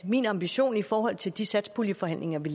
min ambition i forhold til de satspuljeforhandlinger vi